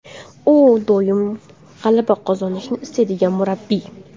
U doim g‘alaba qozonishni istaydigan murabbiy.